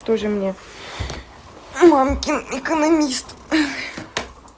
тоже мне мамкин экономист